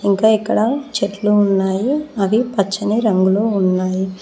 ఇంకా ఇక్కడ చెట్లు ఉన్నాయి అవి పచ్చని రంగులో ఉన్నాయి.